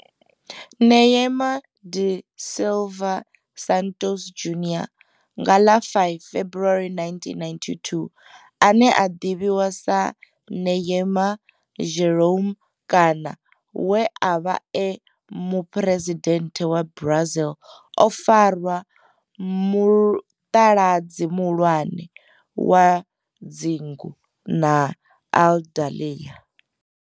Neymar da Silva Santos Junior, nga ḽa 5 February 1992, ane a ḓivhiwa sa Ne'ymar' Jeromme kana we a vha e muphuresidennde wa Brazil o fara mutaladzi muhulwane wa dzingu na Aludalelia.